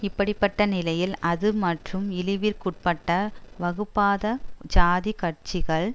இப்படி பட்ட நிலையில் அது மற்றும் இழிவிற்குட்பட்ட வகுப்பாத ஜாதி கட்சிகள்